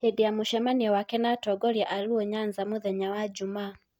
Hĩndĩ ya mũcemanio wake na atongoria a Luo Nyanza mũthenya wa Jumaa.